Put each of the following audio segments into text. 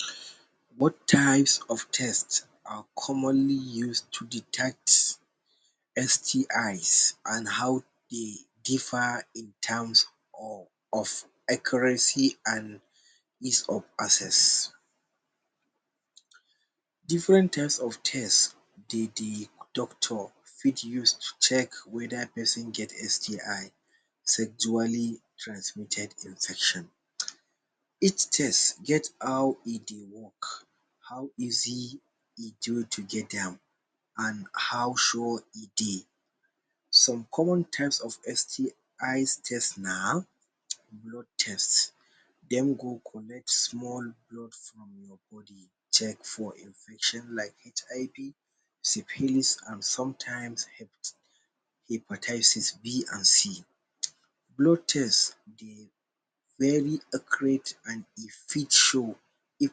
um Both types of taste are commonly used to detect STIs and how de differ in terms of of accuracy and Of access. Different types of test dey de Doctor fit use to check whether person get STI sexually transmitted infection. Each test get how e dey work how easy e to get am and how sure e dey. Some common types of STIs test na um blood test: Dem go collect small blood from your body check for infection like HIV, syphilis, and sometimes hepatitis B and C um. Blood test dey very accurate and e fit show if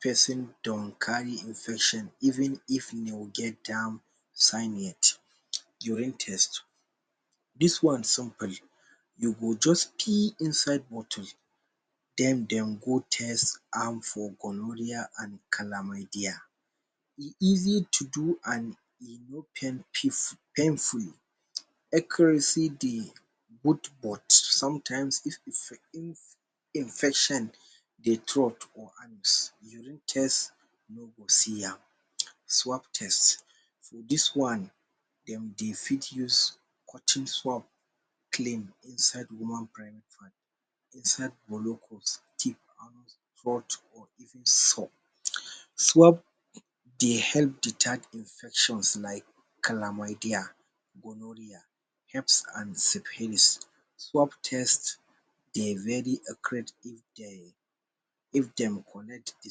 person don carry infection even if de get am sign yet. Urine Test: this one somebody, you go just pee inside bottle den dem go test am for gonorrhoea and Chlamydia. E easy to do and e no painful. Accuracy dey both but sometimes but if infection dey Urine test no go see am. Swap test: this one dem dey fit cotton clothe clean inside woman private part, inside brokos and for even Swap dey help detect infections like Chlamydia, gonorrhea, haps and syphilis. Swap test dey very if dem collect de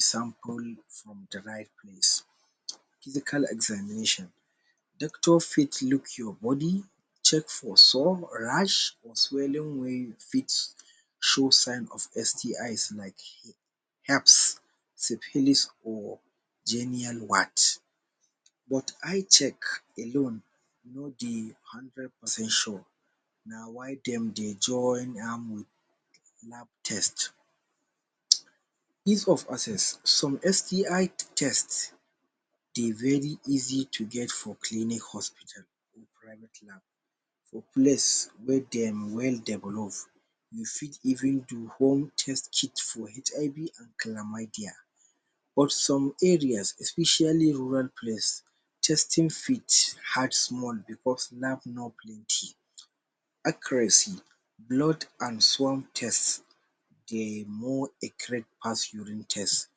sample from de right place [um. Physical examination: doctors fit look your body check for sores, rash swelling wey fit show sign of STIs like Heps, syphilis or genial warts. But eye check alone no de hundred percent sure na why dem dey join am wit lab test um. Ease of access: some STI test dey very easy to get for clinic hospital and private lab, for place wey dem wey develop. You fit even do home test kit for HIV and Chlamydia. But some areas especially rural place testing fit hard small becos lab no plenty. Accuracy: blood and swam test dey more accurate pass urine test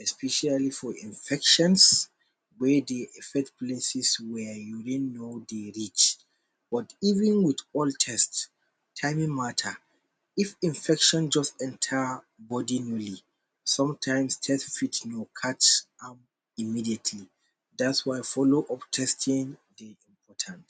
especially for infections wey de affect places wey urine no de reach. But even with all test, it doesn't mata if infection just enter may? Sometimes test fit no catch am immediately that’s why follow up testing dey important.